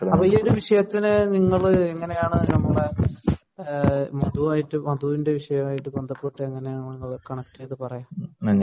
ഈയൊരു വിഷയത്തിന്റെ എങ്ങനെയാണ് നിങ്ങൾ മധുവായിട്ടു മധുവിന്റെ വിഷയവുമായിട്ടു കണക്ട് ചെയ്തു പറയാ